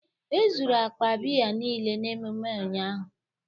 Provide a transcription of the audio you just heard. E zuru akpa biya niile n'ememme ụnyaahụ